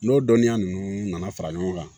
N'o dɔnniya ninnu nana fara ɲɔgɔn kan